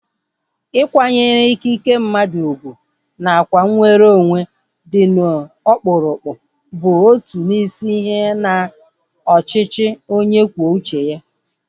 Ịkwanyere ikike mmadụ ugwu nakwa nweronwe dị ọkpụrụkpụ bụ otu n'isi ihe na ọchịchị onye kwuo uche ya